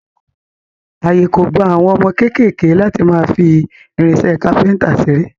Àyè kò gba àwọn ọmọ kéékèèké láti máa fi irinṣẹ́ kápẹ́ńtà ṣeré.